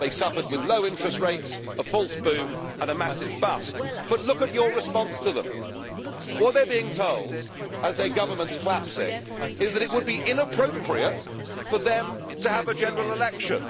They suffered with low interest rates, a false boom and a massive bust. But look at your response to them. What they are being told, as their government is collapsing, is that it would be inappropriate for them to have a general election.